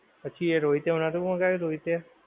પછી એ રોહિતે નોહતું મગાવ્યું રોહિતે